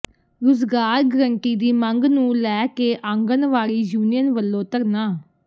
ਰੁਜ਼ਗਾਰ ਗਰੰਟੀ ਦੀ ਮੰਗ ਨੂੰ ਲੈ ਕੇ ਆਂਗਣਵਾੜੀ ਯੂਨੀਅਨ ਵਲੋਂ ਧਰਨਾ